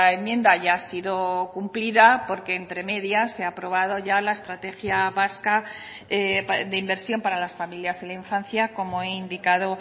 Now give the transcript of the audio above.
enmienda ya ha sido cumplida porque entre medias se ha aprobado ya la estrategia vasca de inversión para las familias y la infancia como he indicado